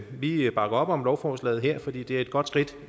vi bakker op om lovforslaget her fordi det er et godt skridt